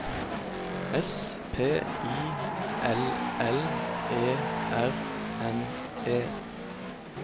S P I L L E R N E